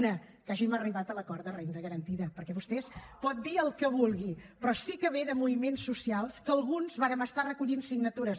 una que hàgim arribat a l’acord de renda garantida perquè vostè pot dir el que vulgui però sí que ve de moviments socials que alguns vàrem estar recollint signatures